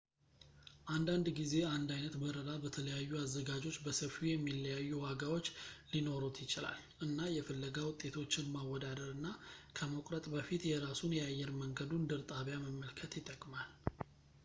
አንዳንድ ጊዜ አንድ ዓይነት በረራ በተለያዩ አዘጋጆች በሰፊው የሚለያዩ ዋጋዎች ሊኖሩት ይችላል እና የፍለጋ ውጤቶችን ማወዳደር እና ከመቁረጥ በፊት የራሱን የአየር መንገዱን ድር ጣቢያ መመልከት ይጠቅማል